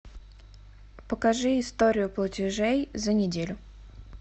покажи историю платежей за неделю